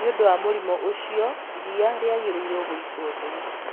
nĩ ũndũ wa mũrimũ ũcio iria rĩagĩrĩire gũitwo thĩ